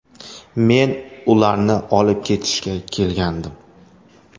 Men ularni olib ketishga kelgandim.